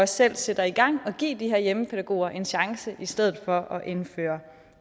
selv sætter i gang og give de her hjemmepædagoger en chance i stedet for indfører